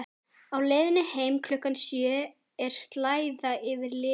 Á leiðinni heim klukkan sjö er slæða yfir litunum.